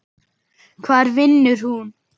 Hvar vinnur hún?